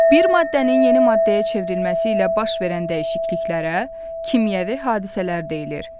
Bir maddənin yeni maddəyə çevrilməsi ilə baş verən dəyişikliklərə kimyəvi hadisələr deyilir.